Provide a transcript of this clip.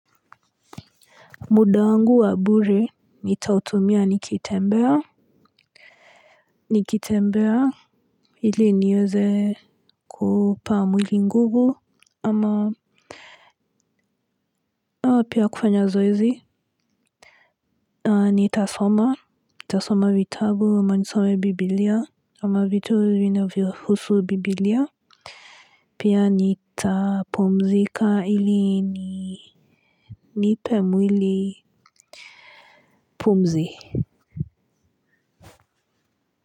Muda wangu wa bure nitautumia nikitembea nikitembea hili niweze kuupa mwili nguvu ama haa pia kufanya zoezi aa nitasoma nitasoma vitabu ama nisome bibilia ama vitu vinavyohusu bibilia pia nitapumzika hili ni nipe mwili pumzi.